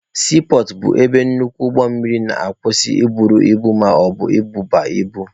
Siipọọtụ bụ ebe nnukwu ụgbọ mmiri na-akwusị i buru ibu maọbụ ịdọba ibu.